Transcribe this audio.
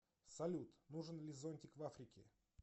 салют нужен ли зонтик в африке